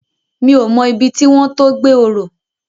Mi ó mò ibi tiwòn to gbé òrò